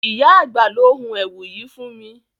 Ìyá àgbà ló hun èwù yìí fún mi.